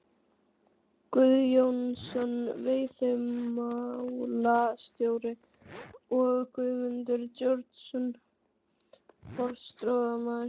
Guðjónsson veiðimálastjóri og Guðmundur Georgsson forstöðumaður